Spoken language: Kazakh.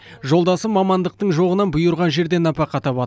жолдасы мамандықтың жоқтығынан бұйырған жерден нәпақа табады